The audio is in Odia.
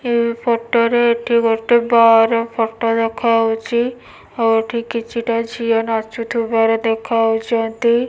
ଏ ଫଟ ରେ ଏଠି ଗୋଟେ ବାର୍ ର ଦେଖାଯାଉଛି। ଆଉ ଏଠି କିଛି ଟା ଝିଅ ନାଚୁଥିବାର ଦେଖାଯାଉଛନ୍ତି।